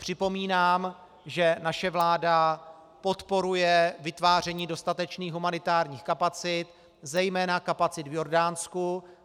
Připomínám, že naše vláda podporuje vytváření dostatečných humanitárních kapacit, zejména kapacit v Jordánsku.